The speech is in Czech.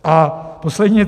A poslední.